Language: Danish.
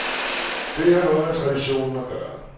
Det har noget med traditionen at gøre.